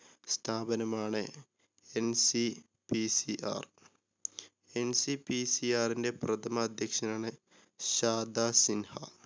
സ്ഥാപനമാണ് NCPCR. NCPCR ൻ്റെ പ്രഥമ അധ്യക്ഷനാണ് ഷാദ സിൻഹ.